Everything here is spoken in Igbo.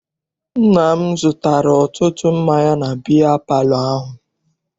Nna m zụtara ọtụtụ mmanya na biya palọ ahụ.